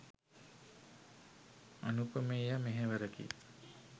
අනූපමේය මෙහෙවරකි.